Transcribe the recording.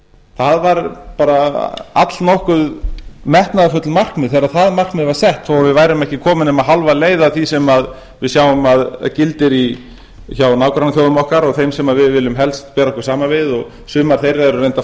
það var bara allnokkuð metnaðarfullt markmið þegar það markmið var sett þó að við værum ekki komin nema hálfa leið að því sem við sjáum að gildir hjá nágrannaþjóðum okkar og þeim sem við viljum helst bera okkur saman við og sumar þeirra eru reyndar